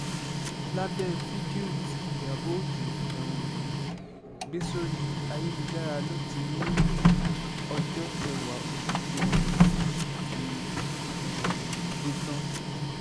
lábẹ́ fídíò tí ìyábọ̀ ọjọ́ um gbé sórí ayélujára ló ti ní ọjọ́ kẹwàá oṣù kẹrin ti um dé tán